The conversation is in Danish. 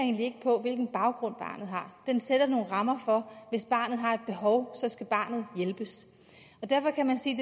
på hvilken baggrund barnet har den sætter nogle rammer for hvis barnet har et behov skal barnet hjælpes derfor kan man sige